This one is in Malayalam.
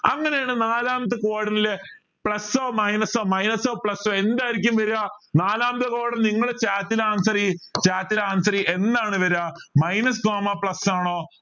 അങ്ങനെയാണെൽ നാലാമത്തെ quadrant ൽ plus ഓ minus ഓ minus ഓ plus ഓ എന്തായിരിക്കും വര നാലാമത്തെ quadrant ൽ ഇങ്ങള് chat ൽ answer ചെയ് chat ൽ answer ചെയ് എന്താണ് വര minus comma plus ആണോ